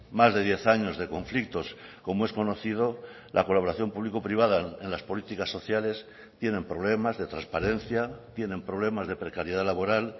más de diez años de conflictos como es conocido la colaboración público privada en las políticas sociales tienen problemas de transparencia tienen problemas de precariedad laboral